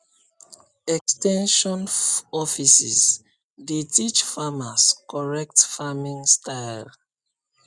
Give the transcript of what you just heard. ex ten sion offices dey teach farmers correct farming style